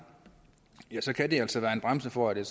så kan det altså være en bremse for det